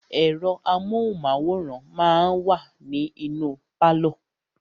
Ẹ̀rọ amóhùnmáwòrán máà wa ní inú pálọ̀.